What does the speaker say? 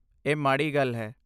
ਇਹ ਮਾੜੀ ਗੱਲ ਹੈ।